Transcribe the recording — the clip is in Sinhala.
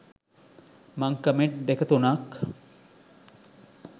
මං කමෙන්ට් දෙක තුනක්